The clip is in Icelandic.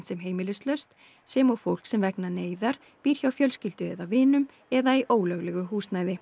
sem heimilislaust sem og fólk sem vegna neyðar býr hjá fjölskyldu eða vinum eða í ólöglegu húsnæði